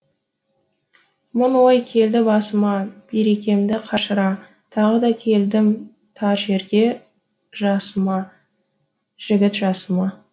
мың ой келді басыма берекемді қашыра тағы да келдім тар жерге жасыма жігіт жасыма